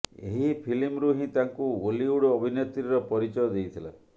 ଏହି ଫିଲ୍ମରୁ ହିଁ ତାଙ୍କୁ ଓଲିଉଡ ଅଭିନେତ୍ରୀର ପରିଚୟ ଦେଇଥିଲା